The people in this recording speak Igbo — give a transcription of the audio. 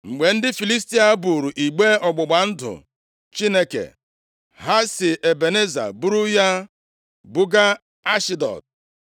Mgbe ndị Filistia buuru igbe ọgbụgba ndụ Chineke, ha si Ebeneza buru ya buga Ashdọd.